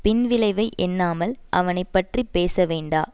பின்விளைவை எண்ணாமல் அவனை பற்றி பேச வேண்டா